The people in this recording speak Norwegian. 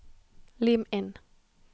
Lim inn